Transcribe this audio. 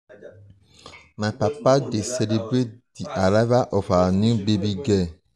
um my papa um dey celebrate di arrival of our new baby girl. um